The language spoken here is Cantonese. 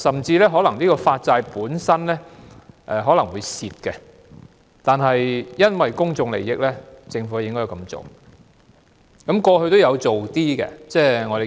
在某些情況下，發債可能會虧本，但因為公眾利益，政府也應該這樣做。